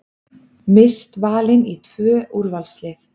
Mist valin í tvö úrvalslið